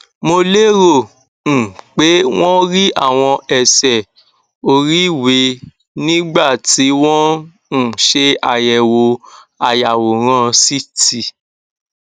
mo lérò um pé wón rí àwọn ẹsẹ oríiwe nígbà tí wọn ń um ṣe àyẹwò ayàwòrán ct